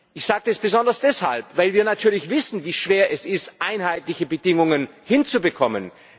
Ich sage das besonders deshalb, weil wir natürlich wissen, wie schwer es ist, einheitliche Bedingungen hinzubekommen.